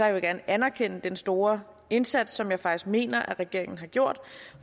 jeg gerne anerkende den store indsats som jeg faktisk mener at regeringen har gjort